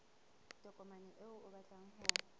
tokomane eo o batlang ho